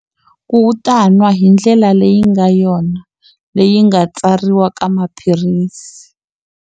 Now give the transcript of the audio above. Ku u ta nwa hi ndlela leyi nga yona, leyi nga tsariwa ka maphilisi.